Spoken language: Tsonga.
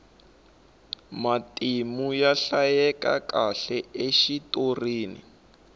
matimu ya hlayekakahle exitorini